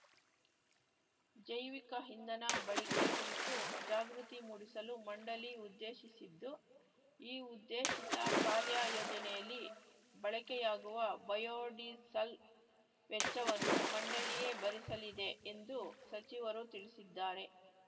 ಜೈವಿಕ ಇಂಧನ ಬಳಿಕೆ ಕುರಿತು ಜಾಗೃತಿ ಮೂಡಿಸಲು ಮಂಡಳಿ ಉದ್ದೇಶಿಸಿದ್ದು ಈ ಉದ್ದೇಶಿತ ಕಾರ್ಯ ಯೋಜನೆಯಲ್ಲಿ ಬಳಕೆಯಾಗುವ ಬಯೋಡೀಸಲ್‌ ವೆಚ್ಚವನ್ನು ಮಂಡಳಿಯೇ ಭರಿಸಲಿದೆ ಎಂದು ಸಚಿವರು ತಿಳಿಸಿದ್ದಾರೆ